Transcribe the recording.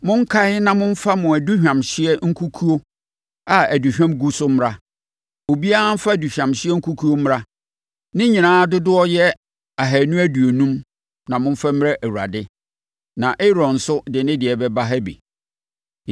Monkae na momfa mo aduhwamhyeɛ nkukuo a aduhwam gu so mmra. Obiara mfa aduhwamhyeɛ kukuo mmra. Ne nyinaa dodoɔ yɛ ahanu aduonum, na momfa mmrɛ Awurade. Na Aaron nso de ne deɛ bɛba ha bi.”